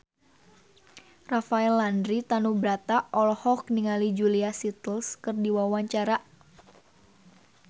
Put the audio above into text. Rafael Landry Tanubrata olohok ningali Julia Stiles keur diwawancara